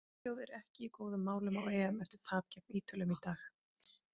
Svíþjóð er ekki í góðum málum á EM eftir tap gegn Ítölum í dag.